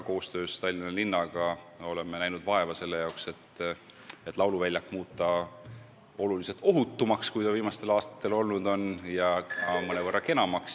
Koostöös Tallinna linnaga oleme näinud vaeva, et lauluväljak muuta oluliselt ohutumaks, kui see viimastel aastatel olnud on, ja ka mõnevõrra kenamaks.